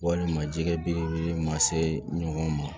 Walima jɛgɛ belebele ma se ɲɔgɔn ma